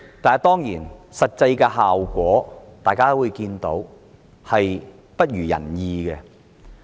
但當然，大家也看到實際效果未如人意。